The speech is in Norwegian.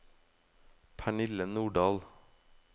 Pernille Nordahl